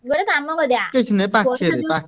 ଗୋଟେ କାମ କରିଆ